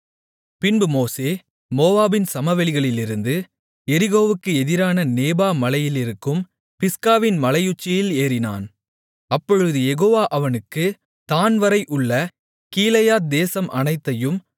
பின்பு மோசே மோவாபின் சமவெளிகளிலிருந்து எரிகோவுக்கு எதிரான நேபோ மலையிலிருக்கும் பிஸ்காவின் மலையுச்சியில் ஏறினான் அப்பொழுது யெகோவா அவனுக்கு தாண்வரை உள்ள கீலேயாத் தேசம் அனைத்தையும்